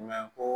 Mɛ ko